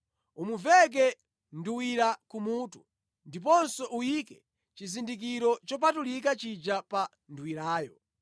Umuveke nduwira kumutu, ndiponso uyike chizindikiro chopatulika chija pa nduwirayo.